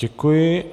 Děkuji.